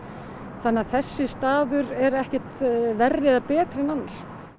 þannig að þessi staður er ekkert verri eða betri en annar